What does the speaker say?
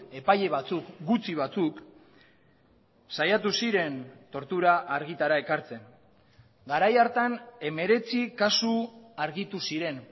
epaile batzuk gutxi batzuk saiatu ziren tortura argitara ekartzen garai hartan hemeretzi kasu argitu ziren